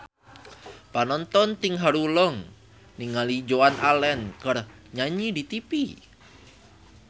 Panonton ting haruleng ningali Joan Allen keur nyanyi di tipi